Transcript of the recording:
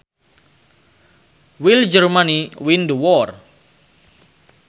Will Germany win the war